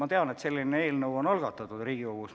Ma tean, et selline eelnõu on Riigikogus algatatud.